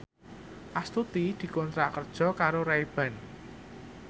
Astuti dikontrak kerja karo Ray Ban